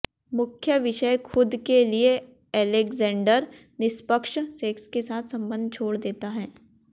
मुख्य विषय खुद के लिए अलेक्जेंडर निष्पक्ष सेक्स के साथ संबंध छोड़ देता है